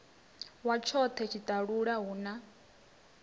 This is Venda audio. wa tshone tshiṱalula hu na